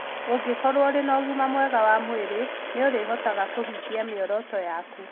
Ũngĩkorũo ũrĩ na ũgima mwega wa mwĩrĩ, nĩ ũrĩhotaga kũhingia mĩoroto yaku.